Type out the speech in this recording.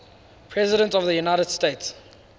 presidents of the united states